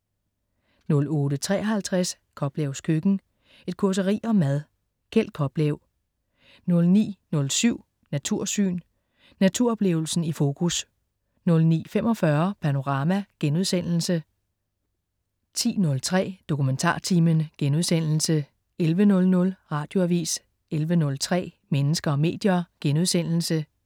08.53 Koplevs køkken. Et causeri om mad. Kjeld Koplev 09.07 Natursyn. Naturoplevelsen i fokus 09.45 Panorama* 10.03 DokumentarTimen* 11.00 Radioavis 11.03 Mennesker og medier*